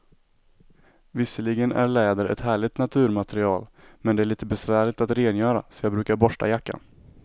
Visserligen är läder ett härligt naturmaterial, men det är lite besvärligt att rengöra, så jag brukar borsta jackan.